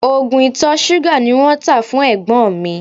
Oògùn ìtọ̀ ṣúgà ni wọ́n tá fún ẹ̀gbọ́n mi